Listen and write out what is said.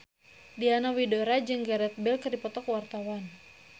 Diana Widoera jeung Gareth Bale keur dipoto ku wartawan